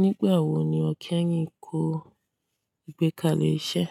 Nígbà wo ni o kí ẹ̀yin kó ìgbékalẹ̀ iṣẹ́?